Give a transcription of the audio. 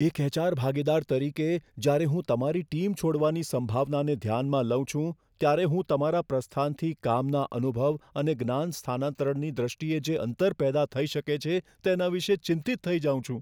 એક એચ.આર. ભાગીદાર તરીકે, જ્યારે હું તમારી ટીમ છોડવાની સંભાવનાને ધ્યાનમાં લઉં છું, ત્યારે હું તમારા પ્રસ્થાનથી કામના અનુભવ અને જ્ઞાન સ્થાનાંતરણની દ્રષ્ટિએ જે અંતર પેદા થઈ શકે છે તેના વિશે ચિંતિત થઈ જાઉં છું.